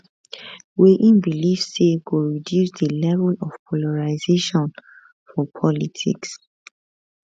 wey im believe say go reduce di level of polarisation for politics